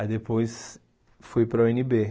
Aí depois fui para a u ene bê.